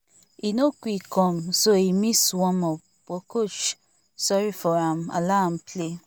e no quick come so e miss warm up but coach sorry for am allow am play